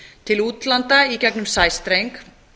til útlanda í gegnum sæstreng